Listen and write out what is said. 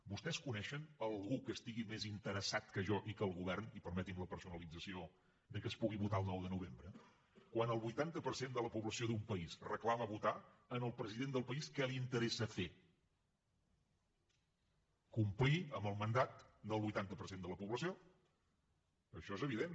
vostès coneixen algú que estigui més interessat que jo i que el govern i permetin me la personalització que es pugui votar el nou de novembre quan el vuitanta per cent de la població d’un país reclama votar al president del país què li interessa fer complir amb el mandat del vuitanta per cent de la població això és evident